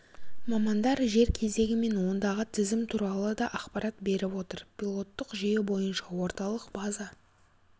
мамандар жер кезегі мен ондағы тізім туралы да ақпарат беріп отыр пилоттық жүйе бойынша орталық база